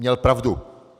Měl pravdu.